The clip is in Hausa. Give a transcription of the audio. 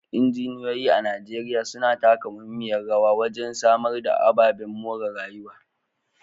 Injiniyoyi a Najeriya suna taka muhimmiyar rawa wajen samar da ababen more rayuwa